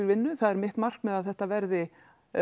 vinnu það er mitt markmið að þetta verði